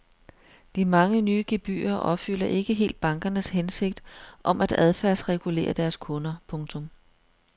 De mange nye gebyrer opfylder ikke helt bankernes hensigt om at adfærdsregulere deres kunder. punktum